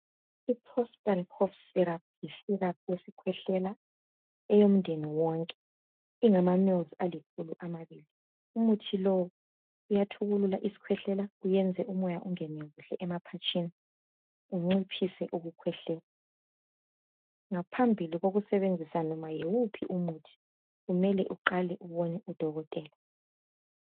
IProspan cough syrup yisiraphu yesikhwehlela eyomdeni wonke. Ingama mills alikhulu amabili umuthi lowo uyathukulula isikhwehlela uwenze umoya ungene kuhle emaphatsheni unciphise ukukwehlela. Ngaphambili kokusebenzisa noba yiwuphi umuthi kumele uqale ubone udokotela